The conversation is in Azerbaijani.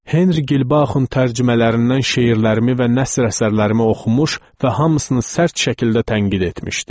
Henri Gilbauxun tərcümələrindən şeirlərimi və nəsr əsərlərimi oxumuş və hamısını sərt şəkildə tənqid etmişdi.